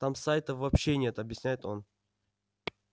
там сайтов вообще нет объясняет он